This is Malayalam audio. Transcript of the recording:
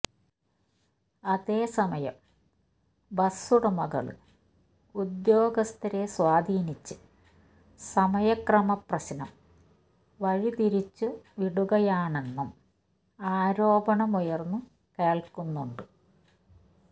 അതേസമയം ബസ്സുടമകള് ഉദ്യോഗസ്ഥരെ സ്വാധീനിച്ച് സമയക്രമ പ്രശ്നം വഴിതിരിച്ചുവിടുകയാണെന്നും ആരോപണമുയന്ന്നു കേള്ക്കുന്നുണ്ട്